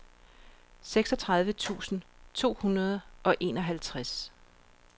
seksogtredive tusind to hundrede og enoghalvtreds